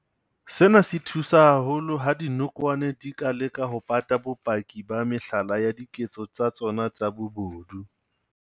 Sena se thusa haholo ha dinokwane di ka leka ho pata bopaki ba mehlala ya diketso tsa tsona tsa bobodu.